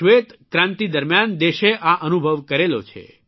શ્વેતક્રાંતિ દરમ્યાન દેશે આ અનુભવ કરેલો છે